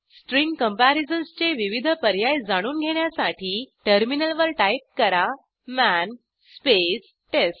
string comparisonsचे विविध पर्याय जाणून घेण्यासाठी टर्मिनलवर टाईप करा मन स्पेस टेस्ट